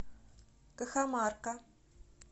кахамарка